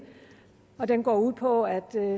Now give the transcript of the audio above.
den går ud på at